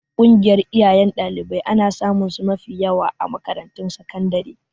Ƙungiyar iyayen ɗalibai ana samunsu mafi yawa a makarantun sakandare.